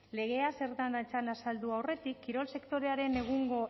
legea zer den azaldu aurretik kirol sektorearen egungo